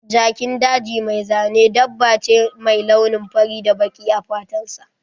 Jakin daji mai zane dabba ne mai launi fari da baƙi a fatan sa.